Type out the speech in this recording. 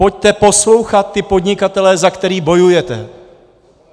Pojďte poslouchat ty podnikatele, za které bojujete.